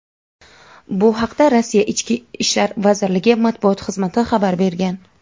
Bu haqda Rossiya Ichki ishlar vazirligi matbuot xizmati xabar bergan.